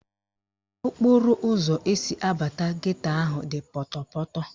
Okporoụzọ esi abata geto ahụ dị pọtọpọtọ